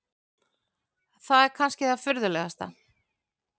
Það er kannski það furðulegasta.